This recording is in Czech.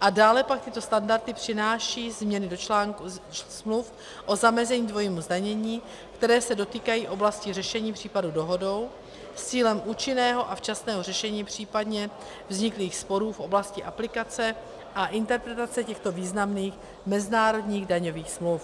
a dále pak tyto standardy přináší změny do článku smluv o zamezení dvojímu zdanění, které se dotýkají oblasti řešení případu dohodou s cílem účinného a včasného řešení, případně vzniklých sporů v oblasti aplikace a interpretace těchto významných mezinárodních daňových smluv.